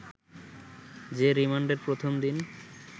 যে রিমান্ডের প্রথম দিন